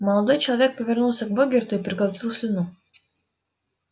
молодой человек повернулся к богерту и проглотил слюну